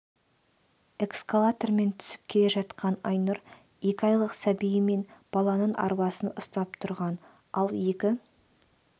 эскалатормен түсіп келе жатқанда айнұр екі айлық сәбиі мен баланың арбасын ұстап тұрған ал екі